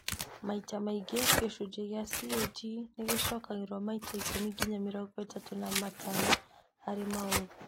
Maita maingĩ, gĩcunjĩ kĩa CAG nĩgĩcokagĩrwo maita ikũmi nginya mĩrongo ĩtatu na matano harĩ maũthĩ